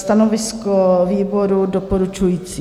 Stanovisko výboru: doporučující.